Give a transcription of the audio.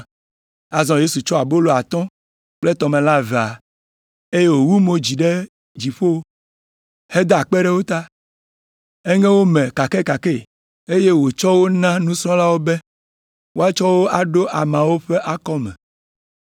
Azɔ Yesu tsɔ abolo atɔ̃ kple tɔmelã evea, eye wòwu mo dzi ɖe dziƒo heda akpe ɖe wo ta. Eŋe wo me kakɛkakɛ, eye wòtsɔ wo na nusrɔ̃lawo be woatsɔ wo aɖo ameawo ƒe akɔme.